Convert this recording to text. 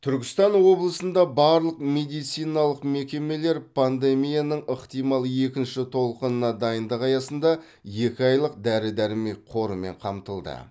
түркістан облысында барлық медициналық мекемелер пандемияның ықтимал екінші толқынына дайындық аясында екі айлық дәрі дәрмек қорымен қамтылды